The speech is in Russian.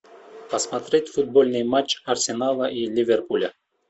посмотреть футбольный матч арсенала и ливерпуля